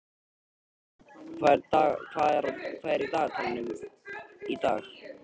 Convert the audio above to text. Niðbjörg, hvað er í dagatalinu í dag?